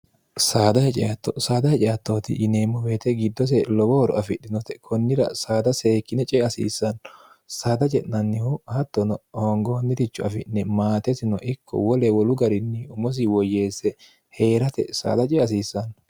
saada hice attooti yineemmo beete giddose lowohoro afidhinote kunnira saada seekkine cee asiissanno saada je'nannihu hattono hoongoommitichu afi'ne maatetino ikko wole wolu garinni umosi woyyeesse hee'rate saada ceeasiissanno